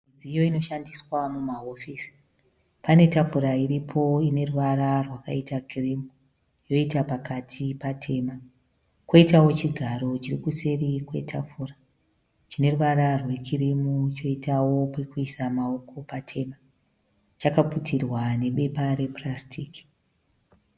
Midziyo inoshandiswa mumahofisi. Pane tafura iripo ine ruvara rwakaita kirimu yoita pakati patema, poitawo chigaro chiri kuseri kwetafura chineruvara rwekirimu choitawo pokuisa maoko patema, chakaputirwa nebepa repurasitiki